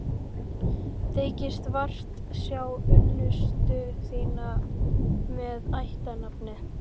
Þykist vart sjá unnustu þína með ættarnafnið.